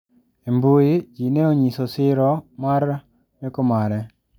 E mbui jo ne onyiso siro mar meko mare.